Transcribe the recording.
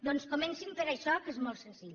doncs comencin per això que és molt senzill